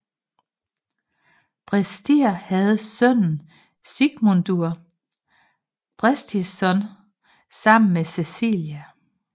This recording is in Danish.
Brestir havde sønnen Sigmundur Brestisson sammen med Cæcilia